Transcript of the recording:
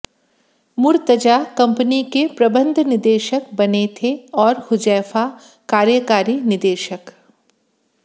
Murtaza company के प्रबंध निदेशक बने थे और हुजैफा कार्यकारी निदेशक